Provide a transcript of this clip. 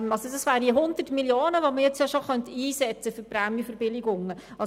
Diese 100 Mio. Franken könnte man jetzt bereits für die Prämienverbilligungen einsetzen.